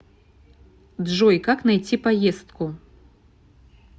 джой как найти поездку